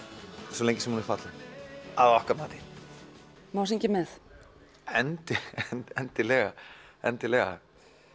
svo lengi sem hún er falleg að okkar mati má syngja með endilega endilega endilega